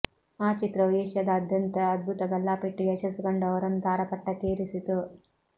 ಆ ಚಿತ್ರವು ಏಷ್ಯಾದಾದ್ಯಂತ ಅದ್ಭುತ ಗಲ್ಲಾ ಪೆಟ್ಟಿಗೆ ಯಶಸ್ಸು ಕಂಡು ಅವರನ್ನು ತಾರಾಪಟ್ಟಕ್ಕೇರಿಸಿತು